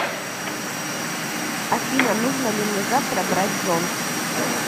афина нужно ли мне завтра брать зонт